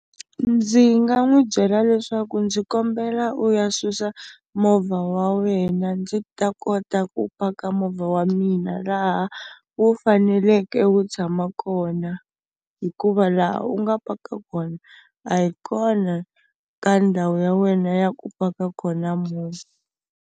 Ndzi nga n'wi byela leswaku ndzi kombela u ya susa movha wa wena ndzi ta kota ku paka movha wa mina laha wu faneleke wu tshama kona hikuva laha u nga paka kona a yi kona ka ndhawu ya wena ya ku paka kona movha.